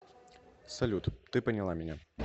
салют ты поняла меня